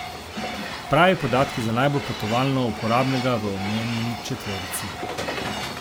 Pravi podatki za najbolj potovalno uporabnega v omenjeni četverici.